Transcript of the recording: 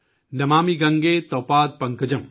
नमामि गंगे तव पाद पंकजं,